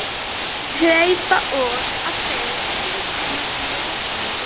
Hleypa út á því þrýstingi með jöfnu bili.